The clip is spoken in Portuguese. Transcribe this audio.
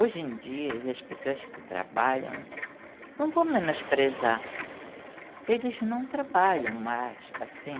Hoje em dia, as pessoas que trabalham, não vou menosprezar, eles não trabalham mais, assim.